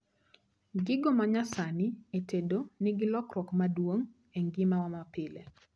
Gigo manyasani e tedo nigi lokruok maduong' e ngima wa mapile